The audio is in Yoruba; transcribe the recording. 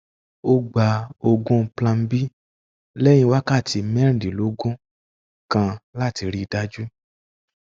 ó gba oògùn plan b lẹyìn wákàtí mẹrìndínlógún kan láti rí i dájú